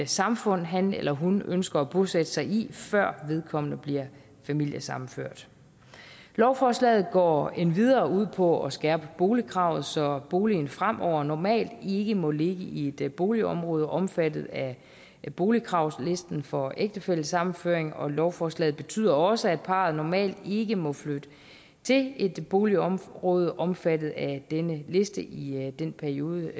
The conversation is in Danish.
samfund han eller hun ønsker at bosætte sig i før vedkommende bliver familiesammenført lovforslaget går endvidere ud på at skærpe boligkravet så boligen fremover normalt ikke må ligge i et boligområde omfattet af boligkravslisten for ægtefællesammenføring og lovforslaget betyder også at parret normalt ikke må flytte til et boligområde omfattet af denne liste i i den periode